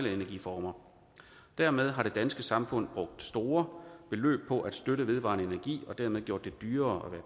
energiformer dermed har det danske samfund brugt store beløb på at støtte vedvarende energi og dermed gjort det dyrere